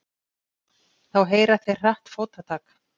Þá heyra þeir hratt fótatak.